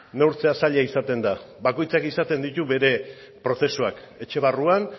neurtzea zaila izaten da bakoitzak izaten ditu bere prozesuak etxe barruan